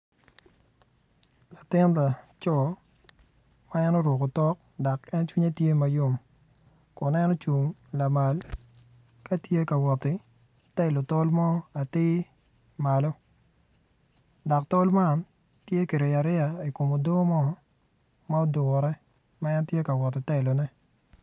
Latin laco ma oruko otok dok cwinye tye mayom kun en ocung lamal ka tye ka wot ki telo tol mo atir malo dok tol man tye kiriyo ariya i kom odoo mo.